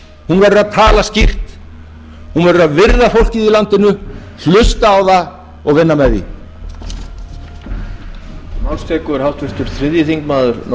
hún verður að tala skýrt hún verður að virða fólkið í landinu hlusta á það og vinna með því